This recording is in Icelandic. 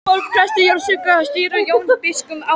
Tólf prestar jarðsungu og stýrði Jón biskup athöfninni.